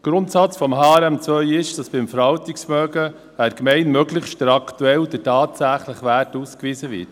Der Grundsatz von HRM2 ist, dass beim Verwaltungsvermögen einer Gemeinde möglichst der aktuelle, der tatsächliche Wert ausgewiesen wird.